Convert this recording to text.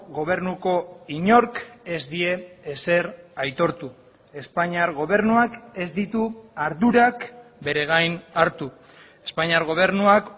gobernuko inork ez die ezer aitortu espainiar gobernuak ez ditu ardurak bere gain hartu espainiar gobernuak